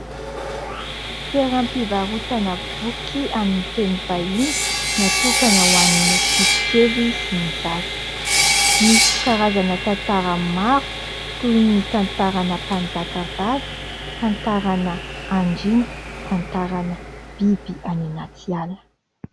Toeram-pivarotana boky amin'ny teny vahiny natokana ho an'ny ankizy kely sy ny zaza. Misy karazana tantara maro toy ny tantarana mpanjakavavy, tantarana Andriana, tantarana biby any anaty ala.